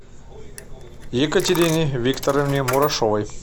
екатерине викторовне мурашовой